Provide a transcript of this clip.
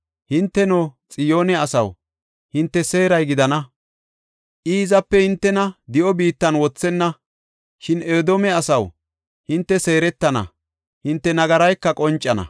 Hinteno, Xiyoone asaw, hinte seeray gidana; I hizape hintena di7o biittan wothenna. Shin Edoome asaw, hinte seeretana; hinte nagarayka qoncana.